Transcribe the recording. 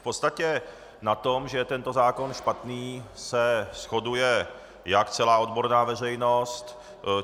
V podstatě na tom, že je tento zákon špatný, se shoduje jak celá odborná veřejnost.